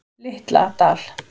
Litla Dal